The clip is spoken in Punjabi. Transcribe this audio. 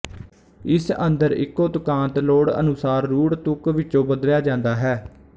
ਇਸ ਅੰਦਰ ਇੱਕੋ ਤੁਕਾਂਤ ਲੋੜ ਅਨੁਸਾਰ ਰੂੜ ਤੁਕ ਵਿੱਚੋਂ ਬਦਲਿਆ ਜਾਂਦਾ ਹੈ